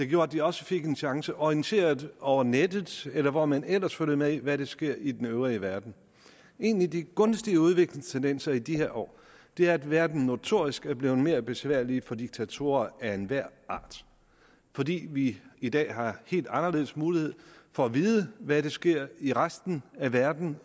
gjorde at de også fik en chance orienteret over nettet eller hvor man ellers følger med i hvad der sker i den øvrige verden en af de gunstige udviklingstendenser i de her år er at verden notorisk er blevet mere besværlig for diktatorer af enhver art fordi vi i dag har helt anderledes mulighed for at vide hvad der sker i resten af verden